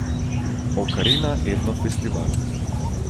Okarina etno festival.